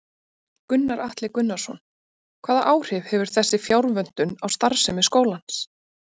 Gunnar Atli Gunnarsson: Hvaða áhrif hefur þessi fjárvöntun á starfsemi skólans?